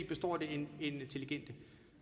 består det intelligente